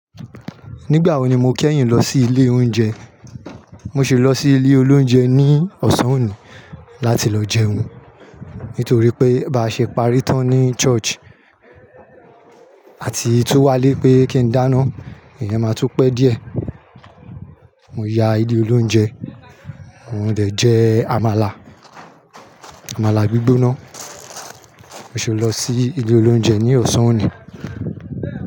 Nígbà wo ni mo kẹ́yìn lọ sí ilé oúnjẹ? Mo ṣe lọ sí ilé oloúnjẹ ní Ọ̀sán òní láti lọ jẹun. Nítorí pé bá ṣe parí tán ní Church, àti tún wálé pé kí ń dáná, èèyàn máa tún pẹ́ díẹ̀. Mo ya ilé oloúnjẹ, mo dẹ jẹ àmàlà, àmàlà gbígbóná. Mo ṣi lọ sí ilé oloúnjẹ ní Ọ̀sán òní.